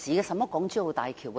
甚麼港珠澳大橋？